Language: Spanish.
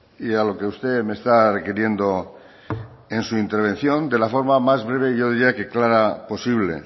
y a lo que usted me está requiriendo en su intervención de la forma más breve yo diría que clara posible